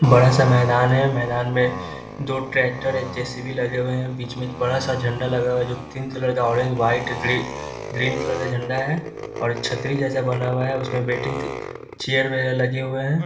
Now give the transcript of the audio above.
बड़ा सा मैदान है मैदान में दो ट्रेक्टर है जे.सी.बी. लगे हुए हैं बीच में एक बड़ा सा झंडा लगा हुआ है जो तीन कलर का ऑरेंज व्हाइट ग्रीन कलर का झंडा है और छतरी जैसा बना हुआ है उसमें वेटिंग चेयर वगेरह लगे हुए हैं ।